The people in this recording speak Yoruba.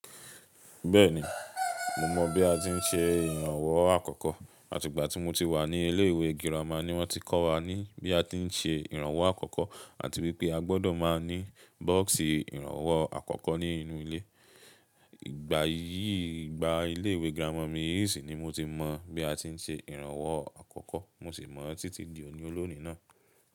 Bẹ́ẹ̀ni, mo mọ̀ bí a ti ń ṣe ìrànwọ́ àkọ́kọ́. Àti ìgbà tí mo ti wà ní ilé ìwé girama ni wọ́n ti kọ́ wa ní bí a ti ń ṣe ìrànwọ́ àkọ́kọ́ àti wípé a gbọ́dọ̀ máa ní bọ́ọ̀sì ìrànwọ́ àkọ́kọ́ ní inú ilé. Ìgbà yìí, ìgbà ilé ìwé girama mi yìí sì ni mo ti mọ̀ bí a ti ń ṣe ìrànwọ́ àkọ́kọ́. Mo sì mọ̀ títí di òní olónìí náà.